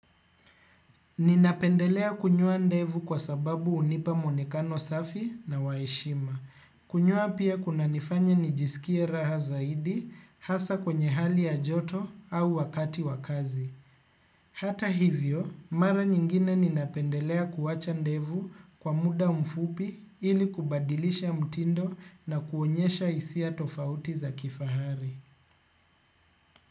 Ninapendelea kunyoa ndevu kwa sababu unipa mwonekano safi na waheshima. Kunyoa pia kuna nifanya nijisikie raha zaidi hasaa kwenye hali ya joto au wakati wakazi. Hata hivyo, mara nyingine ninapendelea kuwacha ndevu kwa muda mfupi ili kubadilisha mtindo na kuonyesha hisia tofauti za kifahari.